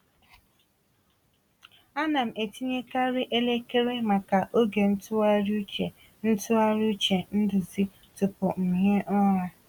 Ana m etinyekarị elekere maka oge ntụgharị uche ntụgharị uche nduzi tupu m hie ụra.